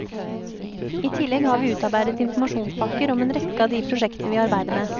I tillegg har vi utarbeidet informasjonspakker om en rekke av de prosjektene vi arbeider med.